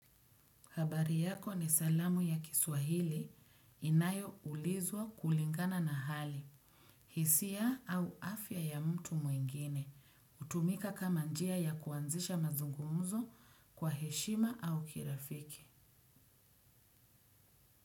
Habari yako ni salamu ya kiswahili inayoulizwa kulingana na hali, hisia au afya ya mtu mwingine, hutumika kama njia ya kuanzisha mazungumzo kwa heshima au kirafiki.